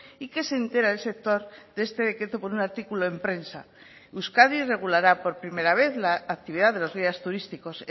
y que se entera el sector de este decreto por un artículo en prensa euskadi regulará por primera vez la actividad de los guías turísticos